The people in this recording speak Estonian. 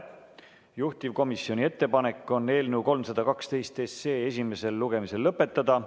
Juhtivkomisjoni ettepanek on eelnõu 312 esimene lugemine lõpetada.